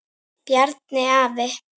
Bjarni afi.